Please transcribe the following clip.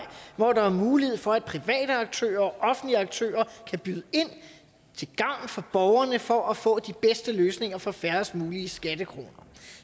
hvor der er mulighed for at private aktører og offentlige aktører kan byde ind til gavn for borgerne altså for at få de bedste løsninger for færrest mulige skattekroner